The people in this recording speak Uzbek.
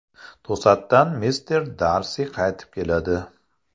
To‘satdan mister Darsi qaytib keladi.